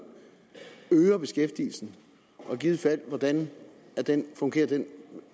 øger beskæftigelsen og i givet fald hvordan fungerer den